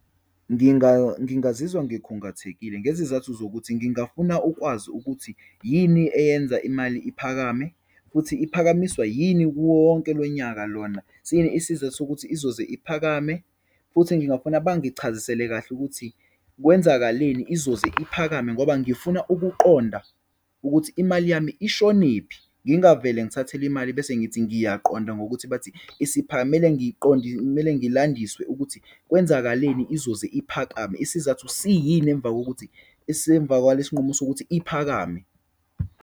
Ngingazizwa ngikhungathekile, ngezizathu zokuthi ngingafuna ukwazi ukuthi yini eyenza imali iphakame, futhi iphakamiswa yini kuwowonke lonyaka lona, siyini isizathu sokuthi izoze iphakame. Futhi ngingafuna bangichazisele kahle ukuthi kwenzakaleni izoze iphakame, ngoba ngifuna ukuqonda ukuthi imali yami ishonephi. Ngingavele ngithathelwe imali bese ngithi ngiyaqonda ngokuthi bathi kumele ngiyiqonde, kumele ngilandiswe ukuthi kwenzakaleni izoze iphakame, isizathu siyini emva kokuthi isemva kwalesinqumo sokuthi iphakame.